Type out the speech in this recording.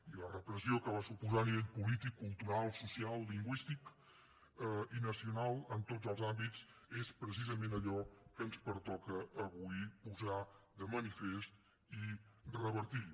i la repressió que va suposar a nivell polític cultural social lingüístic i nacional en tots els àmbits és precisament allò que ens pertoca avui posar de manifest i revertir